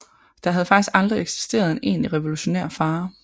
Der havde faktisk aldrig eksisteret en egentlig revolutionær fare